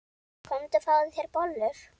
Komdu og fáðu þér bollur.